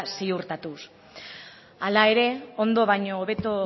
ziurtatuz hala ere ondo baino hobeto